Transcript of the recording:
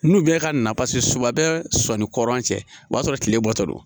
N'u bɛ ka na pase su a bɛ sɔn ni kɔrɔ cɛ o b'a sɔrɔ tile bɔ tɔ don